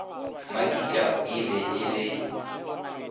makitla e be e le